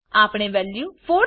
આપણે વેલ્યુ 4